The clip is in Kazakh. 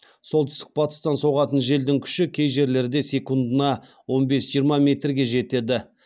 солтүстік батыстан соғатын желдің күші кей жерлерде секундына он бес жиырма метрге жетеді